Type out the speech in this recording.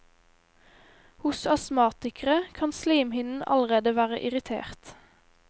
Hos astmatikere kan slimhinnen allerede være irritert.